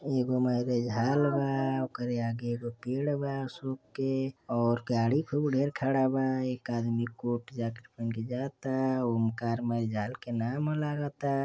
एगो marriage hall बाओके आगे एगो पेड़ बा अशोक केऔर गाड़ी खूब ढेर खड़ा बा एक आदमी कोर्ट जैकेट पहन के जाता ओमकार मैरेज हॉल के नाम लगता।